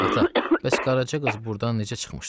Ata, bəs qaraca qız burdan necə çıxmışdı?